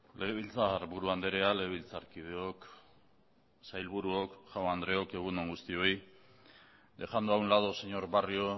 legebiltzarburu andrea legebiltzarkideok sailburuok jaun andreok egun on guztioi dejando a un lado señor barrio